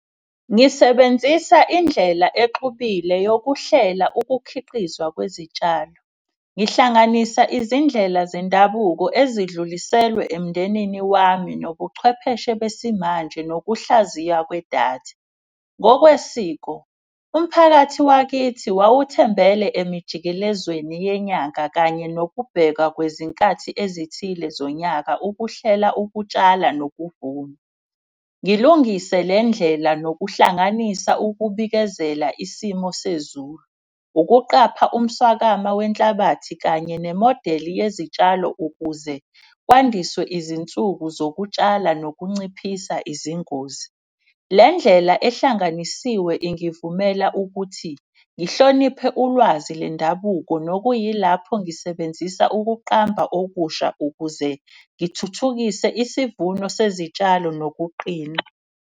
Ngisebenzisa indlela exubile yokuhlela ukukhiqizwa kwezitshalo. Ngihlanganisa izindlela zendabuko ezidluliselwe emndenini wami nobuchwepheshe besimanje nokuhlaziya kwedatha. Ngokwesiko umphakathi wakithi wawuthembele emijikelelezweni yenyanga kanye nokubheka kwezinkathi ezithile zonyaka ukuhlela ukutshala nokuvuma. Ngilungise le ndlela, nokuhlanganisa ukubikezela isimo sezulu, ukuqapha umswakama wenhlabathi. Kanye nemodeli yezitshalo ukuze kwandiswe izinsuku zokutshala nokunciphisa izingozi. Le ndlela ehlanganisiwe ingivumela ukuthi ngihloniphe ulwazi lendabuko. Nokuyilapho ngisebenzisa ukuqamba okusha ukuze ngithuthukise isivuno sezitshalo nokuqina.